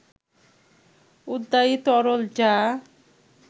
উদ্বায়ী তরল যা